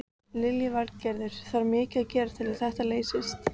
Lillý Valgerður: Þarf mikið að gerast til að þetta leysist?